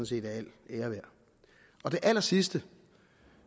set er al ære værd det allersidste